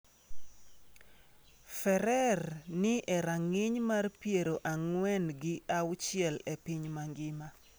Ferrer ni e rang’iny mar piero ang'wen gi auchiel e piny mangima.